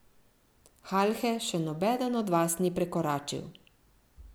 Halhe še nobeden od vas ni prekoračil.